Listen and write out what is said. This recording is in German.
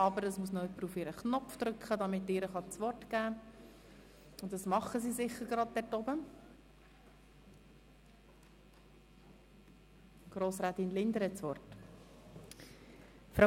Aber es muss noch jemand auf ihren Knopf drücken, um sie in die Rednerliste einzutragen.